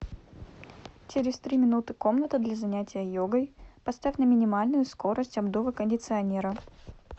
через три минуты комната для занятия йогой поставь на минимальную скорость обдува кондиционера